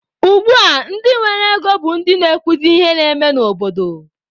Ugbua ndị nwere ego bụ ndị na-ekwuzi ihe na-eme n'obodo.